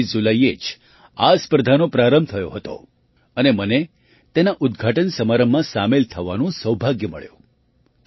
૨૮ જુલાઈએ જ આ સ્પર્ધાનો પ્રારંભ થયો હતો અને મને તેના ઉદ્ઘાટન સમારંભમાં સામેલ થવાનું સૌભાગ્ય મળ્યું